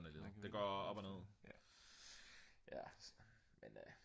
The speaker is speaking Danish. sådan er livet det går op og ned ja men